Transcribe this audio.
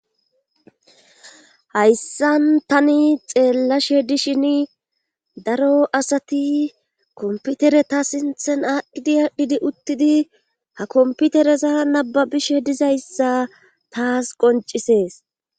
hayssan tani xeellashe dishin daro asati komputereta sinthen adhdidi aadhdhidi uttidi ha komputereza nababishe dizayssa taas qoncisees